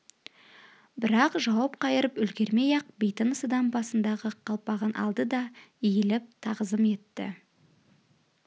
бірақ жауап қайырып үлгермей-ақ бейтаныс адам басындағы қалпағын алды да иіліп тағзым етті